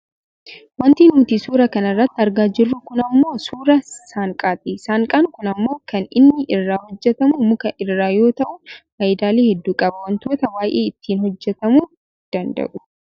Wanti nuti suura kana irratti argaa jirru kun ammoo suuraa saanqaati. Saanqaan kun ammoo kan inni irraa hojjatamu muka irraa yoo ta'u fayidaalee hedduu qaba. Wantoota baayyee ittiin hojjatamuu danda'u.